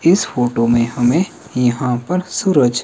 इस फोटो में हमें यहां पर सूरज--